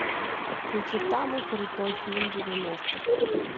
включи самый крутой фильм девяностых